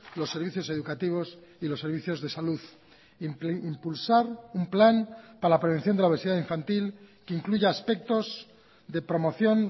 los servicios educativos y los servicios de salud impulsar un plan para la prevención de la obesidad infantil que incluya aspectos de promoción